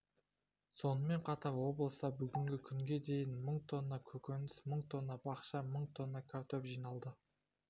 сонымен қатар облыста бүгінгі күнге дейін мың тонна көкөніс мың тонна бақша мың тонна картоп жиналды